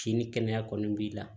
Kini kɛnɛya kɔni b'i la